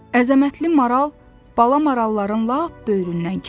Əzəmətli maral bala maralların lap böyründən keçdi.